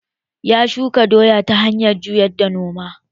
Ya shuka doya ta hanyar juya noma